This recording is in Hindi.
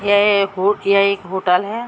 यह एक हुट यह एक होटल है।